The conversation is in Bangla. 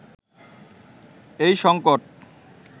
এই সংকট